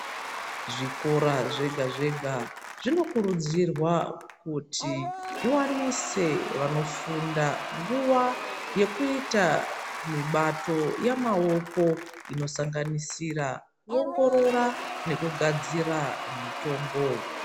Zvikora zvega-zvega zvinokurudzirwa kuti zviwanise vanofunda nguva yekuita mibato yamaoko inosanganisira kuongorora nekugadzira mitombo.